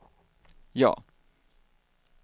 ja